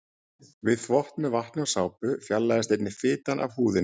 Við þvott með vatni og sápu fjarlægist einnig fitan af húðinni.